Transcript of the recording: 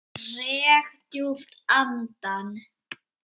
Dreg djúpt andann.